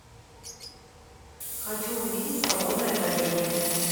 хочу увидеть свободное падение